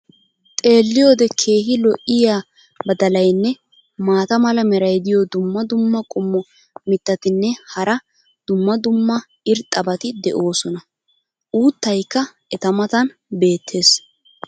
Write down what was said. xeelliyoode keehi lo'iya badalaynne maata mala meray diyo dumma dumma qommo mitattinne hara dumma dumma irxxabati de'oosona. uuttaykka eta matan beetees.